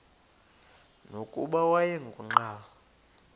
nokuba wayengu nqal